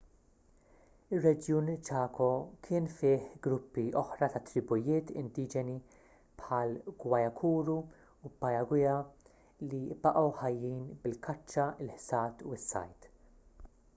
ir-reġjun chaco kien fih gruppi oħra ta’ tribujiet indiġeni bħall-guaycurú u payaguá li baqgħu ħajjin bil-kaċċa il-ħsad u s-sajd